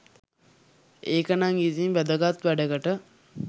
ඒකනං ඉතින් වැදගත් වැඩකට